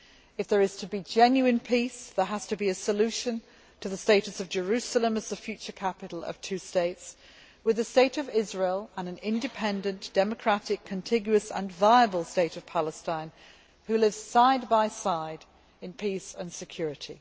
If there is to be genuine peace, there has to be a solution to the status of Jerusalem as the future capital of two states, with the state of Israel and an independent, democratic, contiguous and viable state of Palestine living side by side in peace and security.